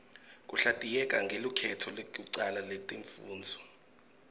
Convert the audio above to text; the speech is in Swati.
kuhlatiyeka ngelukhetto lekucala letifundvo